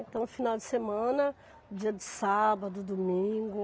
Então, final de semana, dia de sábado, domingo.